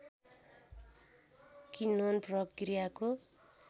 किन्वन प्रक्रियाको